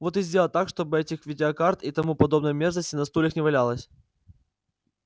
вот и сделай так чтобы этих видеокарт и тому подобной мерзости на стульях не валялось